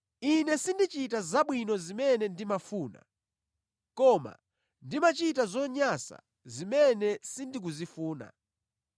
Ine sindichita zabwino zimene ndimafuna koma ndimachita zonyansa zimene sindikuzifuna.